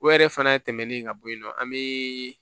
O yɛrɛ fana tɛmɛnen ka bɔ yen nɔ an bɛ